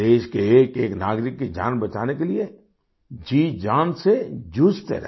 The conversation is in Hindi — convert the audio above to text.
देश के एकएक नागरिक की जान बचाने के लिए जीजान से जूझते रहे